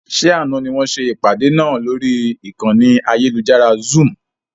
Ṣé àna ni wọn ṣe ìpàdé náà lórí ìkànnì ayélujára Zoom?